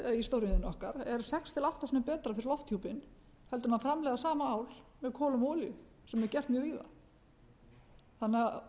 til átta sinnum betra fyrir lofthjúpinn heldur en að framleiða sama ál með kolum og olíu sem er gert mjög víða þannig að